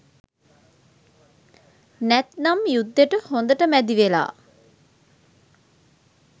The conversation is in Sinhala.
නැත්නම් යුද්දෙට හොඳට මැදිවෙලා